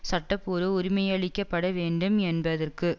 சட்டபூர்வ உரிமையளிக்கப்பட வேண்டும் என்பதற்கு